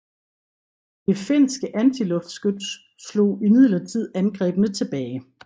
Det finske antiluftskyts slog imidlertid angrebene tilbage